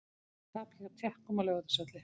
Tap gegn Tékkum á Laugardalsvelli